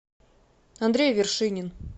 андрей вершинин